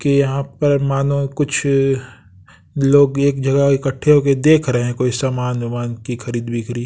कि यहाँ पर मानो कुछ अ लोग एक जगह इकट्ठे होके देख रहे हैं कोई सामान वमान की खरीद बिक्री।